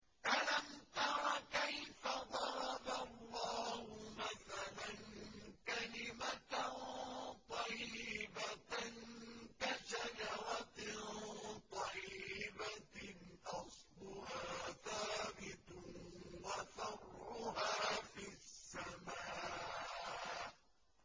أَلَمْ تَرَ كَيْفَ ضَرَبَ اللَّهُ مَثَلًا كَلِمَةً طَيِّبَةً كَشَجَرَةٍ طَيِّبَةٍ أَصْلُهَا ثَابِتٌ وَفَرْعُهَا فِي السَّمَاءِ